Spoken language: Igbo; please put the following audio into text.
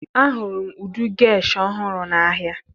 Ahụrụ m ụdị gesh ọhụrụ n'ahịa